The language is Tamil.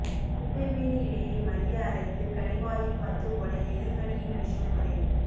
குப்பை மேனி இலையை மைய அரைத்து கடிவாயில் பத்து போட எலிக் கடியின் விஷம் குறையும்